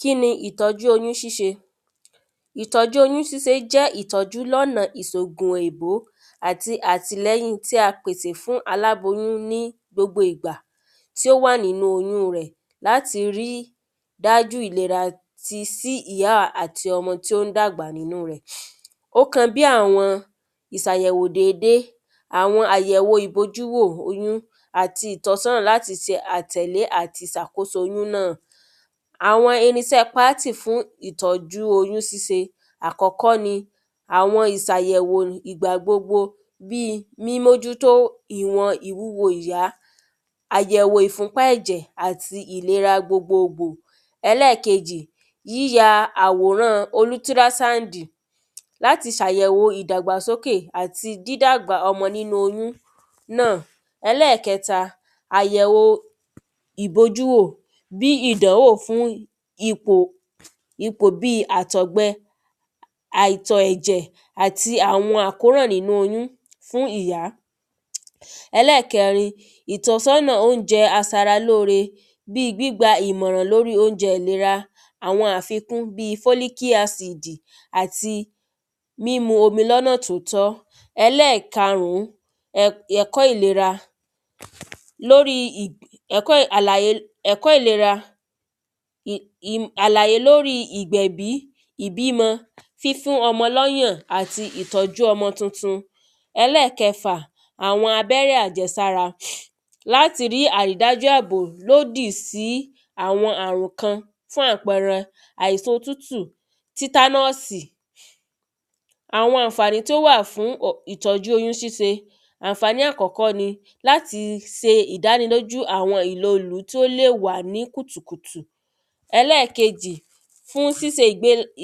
kíni ìtọjú oyún ṣíṣe ìtọ́jú oyún síse jẹ́ ìtọ́jú lọ́na ìsògùn òyìnbó àti àtílẹ́yìn ti a fún aláboyún ní gbogbo ìgbà tí ó wà nínú oyún rẹ̀ láti rí dájú ìlera ti sí ìyá àti ọmọ tí ó ń dàgbà nínú rẹ̀ ó kan bí àwọn ìsàyẹ̀wò dédé àwọn àyẹ̀wò ìbojúwò oyún àti ìtọ́sọ́nà láti se àtẹ̀lé àti sàkóso oyún náà àwọn irinsẹ́ pátì fún ìtọ́jú oyún síse àkọ́kọ́ ni àwọn ìsàyẹ̀wò ìgbàgbogbo bíi mímójú tó ìwọn ìwúwo ìyá àyẹ̀wò ìfúnpá ẹ̀jẹ̀ àti ìlera gbogbogbò ẹlẹkejì, yíya àwòrán olútírásáńdì láti sàyẹ̀wò ìdàgbàsókè àti dídágbà ọmọ nínú oyún. ẹlẹ́kẹta, àyẹ̀wo ìbojú wò bíi ìdánwò fún ipò ipò bíi àtọ̀gbẹ àìtọ̀ ẹ̀jẹ̀ àti àwọn àkóràn nínú oyún fún ìyá ẹlẹ́kẹrin, ìtọ́sọ́nà oúnjẹ asaralóore bíi gbígba ìmọ̀ràn lóri oúnjẹ ìlera, àwọn àfikún bíi fólíkí asìd àti mímu omi lọ́nà tí ó tọ́. ẹlẹ́kàrún, ẹ ẹ̀kọ́ ìlera. lóri ìbi ẹ̀kọ́ àlàyé ẹ̀kọ́ ìlera im im àlàyé lóri ìgbèbí, ìbímọ fífún ọmọ lọ́yàn àti ìtọ́jú ọmọ tuntun ẹlẹ́kẹfà, àwọn abẹ́rẹ́ àjẹsára. láti rí àrídájú àbò lódì sí àwọn àrùn kan fún àpẹrẹ àìsan otútù, títánásì àwọn àǹfàní tí ó wà fún ò ìtọ́jú oyún síse àǹfàní àkọ́kọ́ ni láti se ìdánilójú àwọn ìlọlú tí ó lè wà ní kùtùkùtù ẹlẹ́kejì, fún síse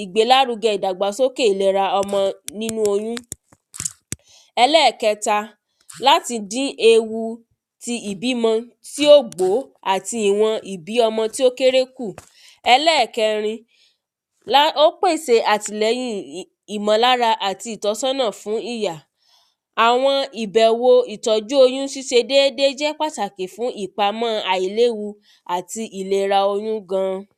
ìgbélárugẹ ìdàgbàsókè ìlera ọmọ nínú oyún ẹlẹ́kẹta, láti dín ewu ti ìbímọ tí ò gbó àti ìwọn ìbí ọmọ tí ó kéré kù ẹlẹ́kẹrin, lá ó gbèsè àtìlẹ́yìn ì ìmọ̀lára àti ìtọ́sọ́nà fún ìyá àwọn ìbẹ̀wo ìtọ́jú ṣíṣe dédé jẹ́ pàtàkì fún ìpamọ́ àìléwu àti ìlera oyún gan